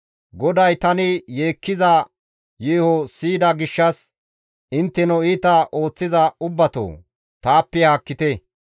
GODAY tani yeekkiza yeeho siyida gishshas, intteno iita ooththiza ubbatoo! Taappe haakkite.